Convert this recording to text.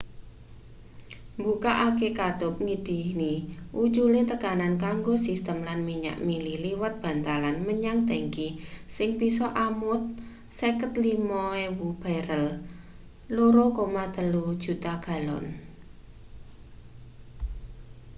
mbukake katup ngidini ucule tekanan kanggo sistem lan minyak mili liwat bantalan menyang tangki sing bisa amot 55.000 barel 2,3 juta galon